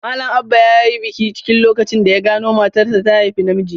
Malam Aba yayi bakin ciki lokacin da ya gano matarsa ta haifi namiji.